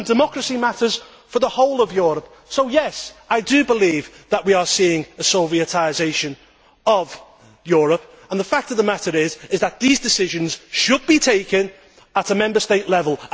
Democracy matters for the whole of Europe so, yes, I do believe that we are seeing a Sovietisation of Europe. The fact of the matter is that these decisions should be taken at Member State level.